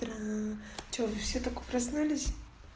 что вы все только проснулись